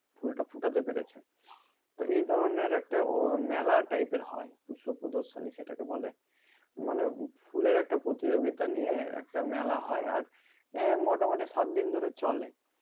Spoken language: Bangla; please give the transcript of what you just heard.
ফুলটা ফোটাতে পেরেছে তো এই ধরনের ওহ একটা মেলা টাইপের হয় পুষ্প প্রদর্শনী সেটাকে বলে মানে ফুলের একটা প্রতিযোগিতা নিয়ে একটা মেলা হয় আর আহ মোটামোটি সাতদিন ধরে চলে